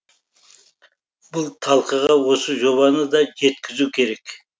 бұл талқыға осы жобаны да жеткізу керек